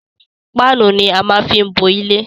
Páánù ni á máa fí ń bo ilé.